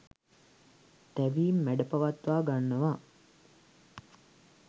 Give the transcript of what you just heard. තැවීම් මැඩපවත්වා ගන්නවා